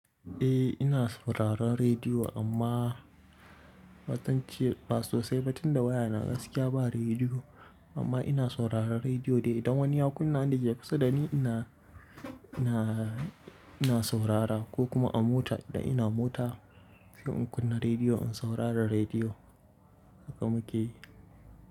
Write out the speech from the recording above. Eh ina sauraron rediyo amma ba zance-- ba sosai ba tunda wayana gaskiya ba rediyo amma ina sauraron rediyo dai. Idan wani ya kunna, wanda ke kusa da ni ina, ina, ina saurara ko kuma a mota, idan ina mota sai in kunna rediyo in saurari rediyo. Haka muke yi.